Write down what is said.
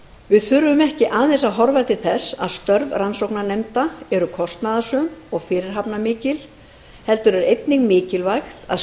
við þurfum ekki aðeins að horfa til þess að störf rannsóknarnefnda eru kostnaðarsöm og fyrirhafnarmikil heldur er einnig mikilvægt að